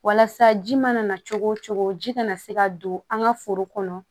Walasa ji mana na cogo wo cogo ji kana se ka don an ka foro kɔnɔ